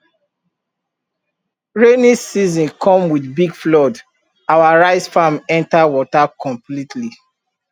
rainy season come with big flood our rice farm enter water completely